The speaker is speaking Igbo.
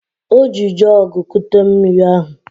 O ji jọọgụ kute mmiri ahụ